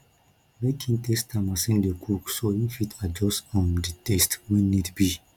make in taste am as in de cook so in fit adjust um di taste when need be